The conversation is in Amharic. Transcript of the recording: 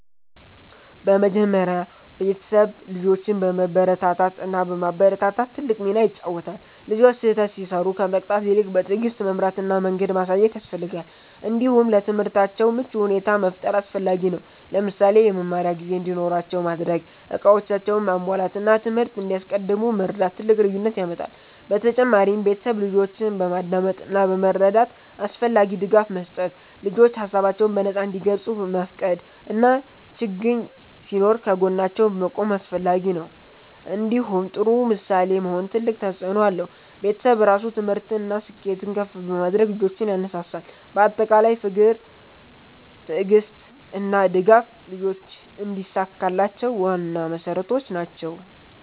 በመጀመሪያ ቤተሰብ ልጆችን በመበረታታት እና በማበረታታት ትልቅ ሚና ይጫወታል። ልጆች ስህተት ሲሰሩ ከመቅጣት ይልቅ በትዕግስት መምራት እና መንገድ ማሳየት ያስፈልጋል። እንዲሁም ለትምህርታቸው ምቹ ሁኔታ መፍጠር አስፈላጊ ነው። ለምሳሌ የመማሪያ ጊዜ እንዲኖራቸው ማድረግ፣ እቃዎቻቸውን ማሟላት እና ትምህርት እንዲያስቀድሙ መርዳት ትልቅ ልዩነት ያመጣል። በተጨማሪም ቤተሰብ ልጆችን በማዳመጥ እና በመረዳት አስፈላጊ ድጋፍ መስጠት። ልጆች ሀሳባቸውን በነፃ እንዲገልጹ መፍቀድ እና ችግኝ ሲኖር ከጎናቸው መቆም አስፈላጊ ነው። እንዲሁም ጥሩ ምሳሌ መሆን ትልቅ ተፅእኖ አለው። ቤተሰብ ራሱ ትምህርትን እና ስኬትን ከፍ በማድረግ ልጆችን ያነሳሳል። በአጠቃላይ ፍቅር፣ ትዕግስት እና ድጋፍ ልጆች እንዲሳካላቸው ዋና መሠረቶች ናቸው።